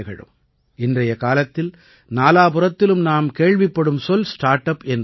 இன்றைய காலத்தில் நாலாபுறத்திலும் நாம் கேள்விப்படும் சொல் ஸ்டார்ட் அப் என்பது தான்